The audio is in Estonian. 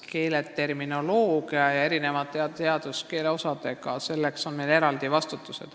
Keeleterminoloogia ja erinevate teaduskeele osadega tegelemiseks on meil määratletud eraldi vastutusalad.